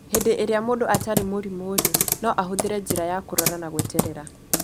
Hĩndĩ ĩrĩa mũndũ atarĩ mũrimũ-rĩ, no ahũthĩre njĩra ya kũrora na gweterera